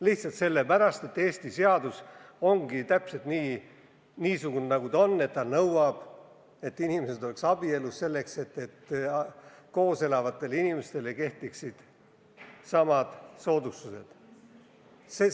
Lihtsalt sellepärast, et Eesti seadus on täpselt niisugune, nagu ta on, et ta nõuab, et koos elavad inimesed oleks abielus, kui nad tahavad, et neile kehtiksid samad soodustused kui abielupaaridele.